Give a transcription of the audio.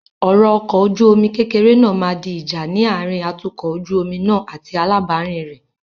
Ọ̀rọ̀ ọkọ ojú omi kékeré náà máa di ìjà ní àárín atukọ̀ ojú omi náà àti alábàárìn rẹ.